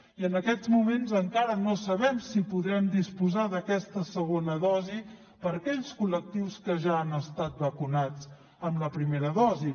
i en aquests moments encara no sabem si podrem disposar d’aquesta segona dosi per a aquells collectius que ja han estat vacunats amb la primera dosi